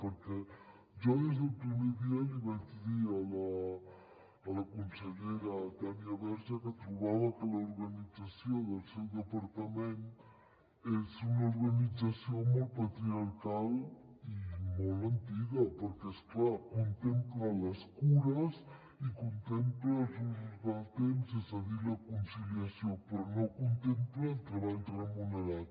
perquè jo des del primer dia li vaig dir a la consellera tània verge que trobava que l’organització del seu departament és una organització molt patriarcal i molt antiga perquè és clar contempla les cures i contempla els usos del temps és a dir la conciliació però no contempla el treball remunerat